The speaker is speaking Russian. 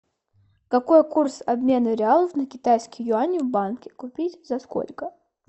какой курс обмена реалов на китайские юани в банке купить за сколько